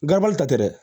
ta tɛ dɛ